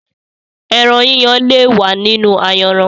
Ẹran yíyan le wa nínú ayanran.